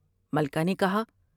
مکہ نے کہا ۔